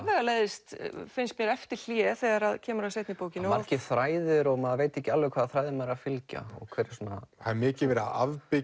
afvegaleiðist finnst mér eftir hlé þegar kemur að seinni bókinni margir þræðir og maður veit ekki alveg hvaða þræði maður er að fylgja og hver það er mikið verið að